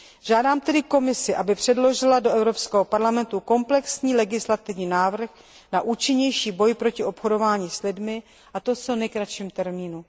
Žádám tedy Komisi, aby předložila do Evropského parlamentu komplexní legislativní návrh na účinnější boj proti obchodování s lidmi, a to v co nejkratším termínu.